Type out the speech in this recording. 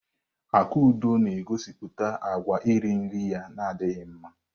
Akudo na-egosipụta àgwà iri nri ya na adịghị mma.